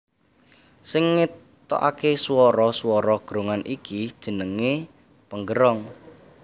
Sing ngetokake swara swara gerongan iki jenenge penggerong